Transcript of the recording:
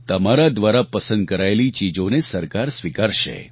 તમારા દ્વારા પસંદ કરાયેલી ચીજોને સરકાર સ્વીકારશે